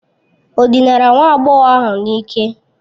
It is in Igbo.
Ọ dinara nwa agbọghọ ahụ n'ike?